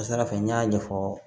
Kasara fɛ n y'a ɲɛfɔ